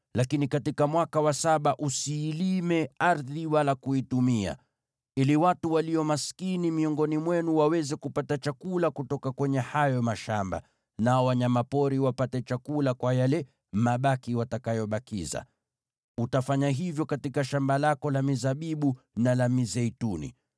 lakini katika mwaka wa saba usiilime ardhi wala kuitumia, ili watu walio maskini miongoni mwenu waweze kupata chakula kutoka kwenye hayo mashamba, nao wanyama pori wapate chakula kwa yale mabaki watakayobakiza. Utafanya hivyo katika shamba lako la mizabibu na la mizeituni.